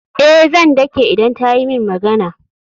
Eh, zan dake idan ta yi min magana.